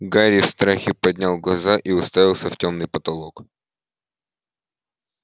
гарри в страхе поднял глаза и уставился в тёмный потолок